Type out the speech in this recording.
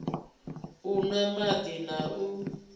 u nwa madi na u